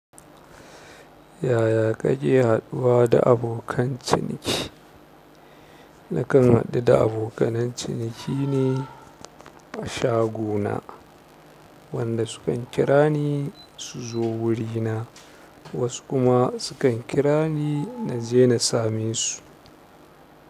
Yaya kake haɗuwa da abokan ciniki? Nakan haɗu da abokan ciniki ne a shagona, wanda su kan kira ni su zo wurina, wasu kuma su kan kira ni na je na same su.